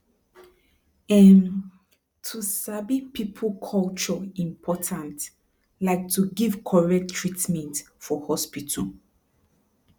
emm to sabi people culture important like to give correct treatment for hospital